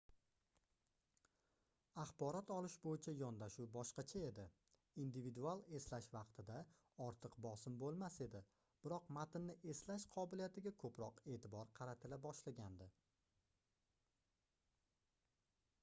axborot olish boʻyicha yondashuv boshqacha edi individual eslash vaqtida ortiq bosim boʻlmas edi biroq matnni eslash qobiliyatiga koʻproq eʼtibor qaratila boshlagandi